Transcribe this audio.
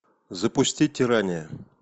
запусти тирания